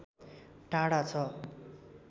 टाढा छ